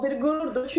A bir qürurdur.